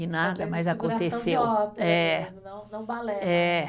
E nada mais aconteceu. É. Não não balé. É.